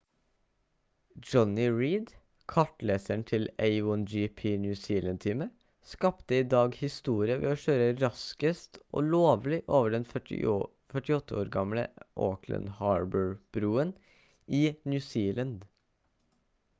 jonny reid kartleseren til a1gp new zealand-teamet skapte i dag historie ved å kjøre raskest og lovlig over den 48 år gamle auckland harbour-broen i new zealand